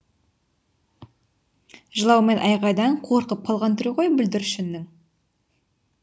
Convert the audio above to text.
жылау мен айғайдан қорқып қалған түрі ғой бүлдіршіннің